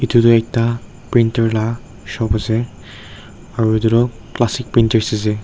edu tu ekta printer la shop ase aro edu toh classic printers ase.